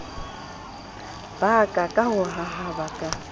ba ka ka hahaba ka